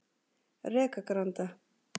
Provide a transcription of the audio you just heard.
Rekagranda